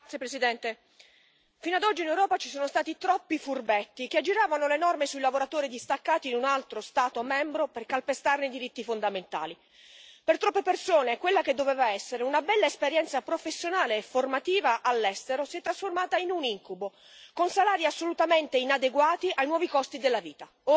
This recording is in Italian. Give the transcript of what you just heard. Signor Presidente, onorevoli colleghi, fino ad oggi in Europa ci sono stati troppi furbetti che aggiravano le norme sui lavoratori distaccati in un altro Stato membro per calpestarne i diritti fondamentali. Per troppe persone, quella che doveva essere una bella esperienza professionale e formativa all'estero si è trasformata in un incubo, con salari assolutamente inadeguati ai nuovi costi della vita.